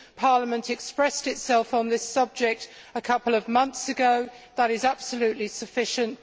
Parliament expressed itself on this subject a couple of months ago that is absolutely sufficient